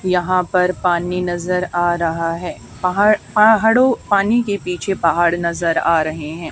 यहां पर पानी नजर आ रहा है पहाड़ पहाड़ों पानी के पीछे पहाड़ नजर आ रहे हैं।